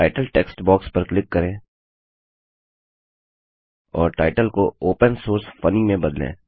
title text box पर click करें और टाइटल को ओपन सोर्स फनी में बदलें